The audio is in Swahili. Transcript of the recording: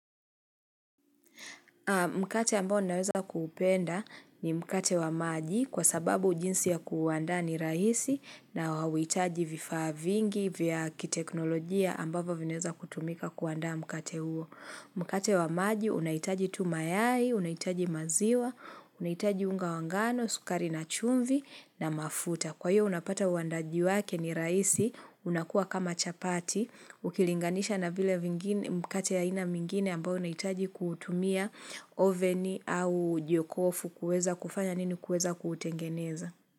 Mkate ambao ninaweza kuupenda ni mkate wa maji kwa sababu jinsi ya kuuanda ni rahisi na hauhitaji vifaa vingi vya kiteknolojia ambavyo vinaweza kutumika kuanda mkate huo. Mkate wa maji unahitaji tu mayai, unahitaji maziwa, unahitaji unga wa ngano, sukari na chumvi na mafuta. Kwa hiyo unapata uandaji wake ni rahisi, unakua kama chapati, ukilinganisha na vile mkate ya aina mengine ambao unahitaji kutumia oveni au jokofu kuweza kufanya nini kuweza kutengeneza.